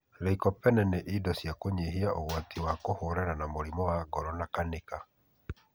Lycopene ni indo cia kunyihia uguati na kũhũrana na murimu wa ngoro na kanica